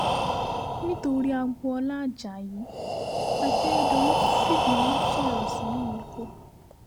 nítorí agboola ajayi akérèdọ́lù fìbínú sọ̀rọ̀ sí mímíkọ́